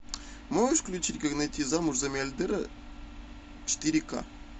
можешь включить как выйти замуж за миллиардера четыре ка